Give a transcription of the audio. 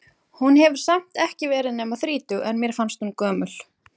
Hún hefur samt ekki verið nema þrítug, en mér fannst hún gömul.